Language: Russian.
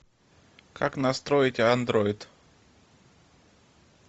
как настроить андроид